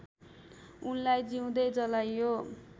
उनलाई जिउँदै जलाइयो